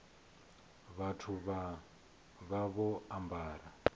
vhathu vha vha vho ambara